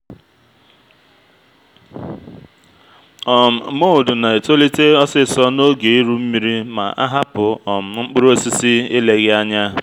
um mould na-etolite osisor n’oge iru nmiri ma a hapụ um mkpụrụ osisi eleghị anya